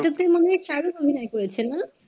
এটাতে মনে হয় shahrukh অভিনয় করেছে না?